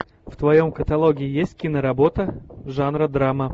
в твоем каталоге есть киноработа жанра драма